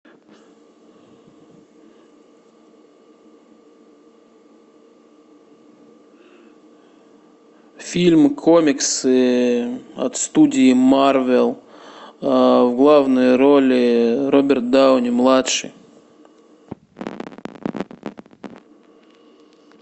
фильм комиксы от студии марвел в главной роли роберт дауни младший